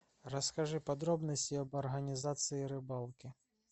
расскажи подробности об организации рыбалки